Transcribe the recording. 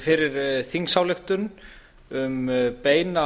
fyrir þingsályktun um beina